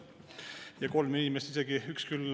Ja kolm inimest isegi on.